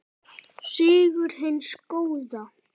Sigur hins góða.